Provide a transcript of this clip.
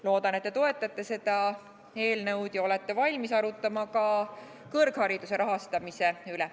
Loodan, et te toetate seda eelnõu ja olete ka valmis arutlema kõrghariduse rahastamise üle.